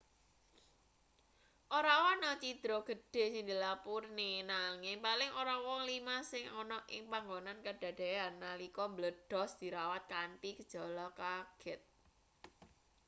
ora ana cidra gedhe sing dilapurne nanging paling ora wong lima sing ana ing panggonan kadadeyan nalika mbledhos dirawat kanthi gejala kaget